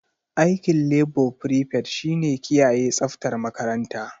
Aikin labo frifet shi ne kiyaye tsaftar makaranta.